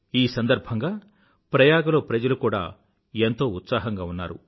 ఈ సందర్భంగా ప్రయాగలో ప్రజలు కూడా ఎంతో ఉత్సాహంగా ఉన్నారు